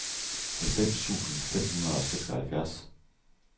halvfems tusind fem hundrede og seksoghalvfjerds